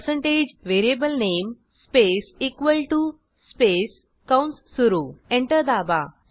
percentage variable नामे space equal to space कंस सुरू एंटर दाबा